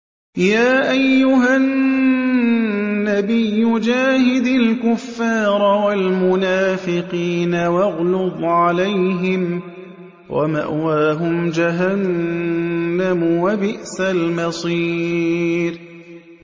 يَا أَيُّهَا النَّبِيُّ جَاهِدِ الْكُفَّارَ وَالْمُنَافِقِينَ وَاغْلُظْ عَلَيْهِمْ ۚ وَمَأْوَاهُمْ جَهَنَّمُ ۖ وَبِئْسَ الْمَصِيرُ